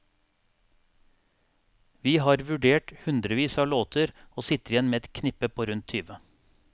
Vi har vurdert hundrevis av låter og sitter igjen med et knippe på rundt tyve.